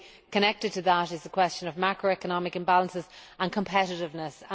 Connected to that is the question of macroeconomic imbalances and competitiveness.